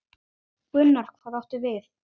Gunnar: Hvað áttu við?